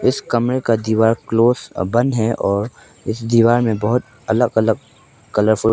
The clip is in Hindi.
इस कमरे का दीवार क्लोज और बंद है और इस दीवार में बहुत अलग अलग कलरफुल --